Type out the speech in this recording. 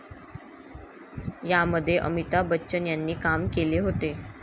यामध्ये अमिताभ बच्चन यांनी काम केले होते.